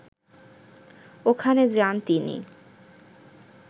ওখানে যান তিনি